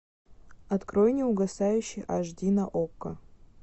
открой неугасающий аш ди на окко